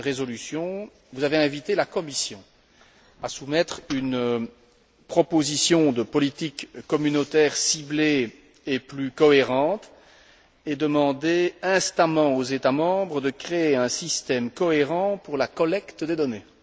Dans cette résolution, vous avez invité la Commission à soumettre une proposition de politique communautaire ciblée et plus cohérente, et demandé instamment aux États membres de créer un système cohérent pour la collecte des données.